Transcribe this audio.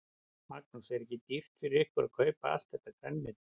Magnús: Er ekki dýrt fyrir ykkur að kaupa allt þetta grænmeti?